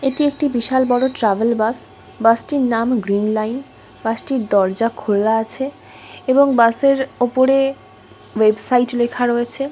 এটি একটি বিশাল বড়ো ট্রাভেল বাস বাসটির নাম গ্রীন লাইন বাসটির দরজা খোলা আছে এবং বাসের উপরে ওয়েবসাইট লেখা রয়েছে।